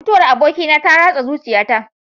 Mutuwar abokina ta ratsa zuciyata.